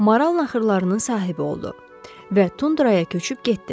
Maral naxırlarının sahibi oldu və tundraya köçüb getdi.